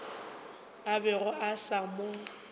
a bego a sa mo